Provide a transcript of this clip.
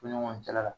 Ko ɲɔgɔn cɛla la